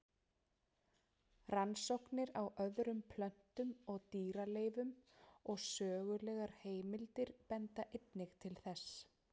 Rannsóknir á öðrum plöntu- og dýraleifum og sögulegar heimildir benda einnig til þessa.